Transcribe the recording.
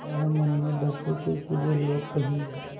वह मन में डरते थे कि वे लोग कहीं